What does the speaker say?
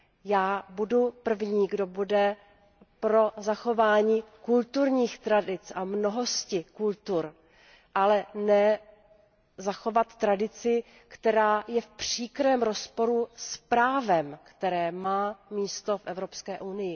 Já budu první, kdo bude pro zachování kulturních tradic a mnohosti kultur, ale ne pro zachování tradice, která je v příkrém rozporu s právem, které má místo v EU.